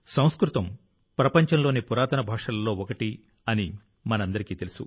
సంస్కృతం ప్రపంచంలోని పురాతన భాషలలో ఒకటి అని మనందరికీ తెలుసు